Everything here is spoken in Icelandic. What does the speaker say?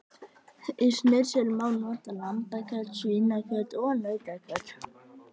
Í snitsel má nota lambakjöt, svínakjöt og nautakjöt.